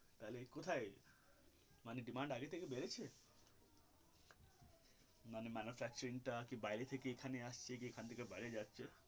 তাহলে কোথায় মানে demand আগে থেকে বেড়েছে মানে manufacturing টা কি বাইরে থেকে এখানে আসছে কি এখন থেকে বাইরে যাচ্ছে.